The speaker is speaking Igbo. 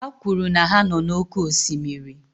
Ha kwuru na ha nọ n'oké osimiri